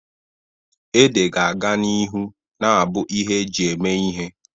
Ede ga-aga n'ihu na-abụ ihe eji eme ihe.